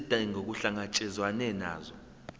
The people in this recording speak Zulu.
izidingo kuhlangatshezwane nazo